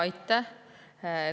Aitäh!